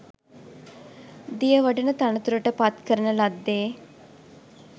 දියවඩන තනතුරට පත් කරන ලද්දේ